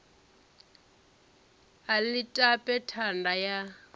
a ḽi tape thanda ya